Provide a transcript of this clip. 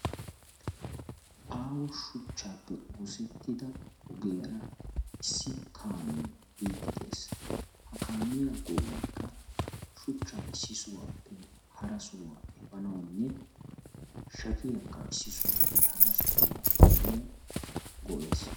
Aaho shuchchaappe oosettida ogiyaara issi kaamee biiddi des ha kaamiyaa go'aykka shuchchaa issi sohaappe hara sohaa efanawunne shapiyaakka issi sohaape hara sohaa efanawu go'es.